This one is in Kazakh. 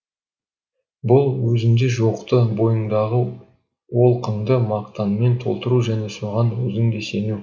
бұл өзінде жоқты бойыңдағы олқыңды мақтанмен толтыру және соған өзің де сену